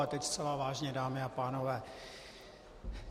A teď zcela vážně, dámy a pánové.